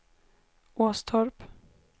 Åstorp